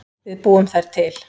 Við búum þær til